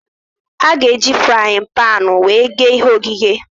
A ga-eji fraaịn panu wee ghee ihe ogheghe